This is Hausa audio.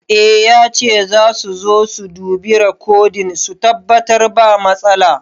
I yace zasu su zo su dubi rekodin su tabbatar ba matsala